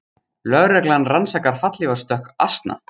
Lögreglan rannsakar fallhlífarstökk asna